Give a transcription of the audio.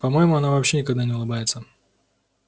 по моему она вообще никогда не улыбается